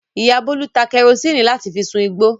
Ìyá Bólú ta kẹrósíínì láti fi sun igbó.